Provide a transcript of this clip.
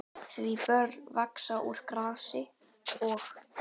Því börn vaxa úr grasi og.